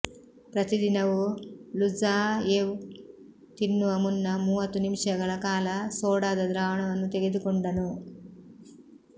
ಪ್ರತಿ ದಿನವೂ ಲುಜಾಯೆವ್ ತಿನ್ನುವ ಮುನ್ನ ಮೂವತ್ತು ನಿಮಿಷಗಳ ಕಾಲ ಸೋಡಾದ ದ್ರಾವಣವನ್ನು ತೆಗೆದುಕೊಂಡನು